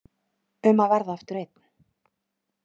Um að verða aftur einn.